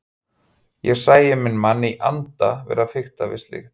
Ég sæi minn mann í anda vera að fikta við slíkt!